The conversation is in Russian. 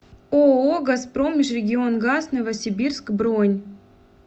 ооо газпром межрегионгаз новосибирск бронь